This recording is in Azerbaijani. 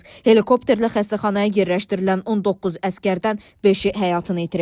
Helikopterlə xəstəxanaya yerləşdirilən 19 əsgərdən beşi həyatını itirib.